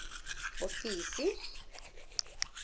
ofisi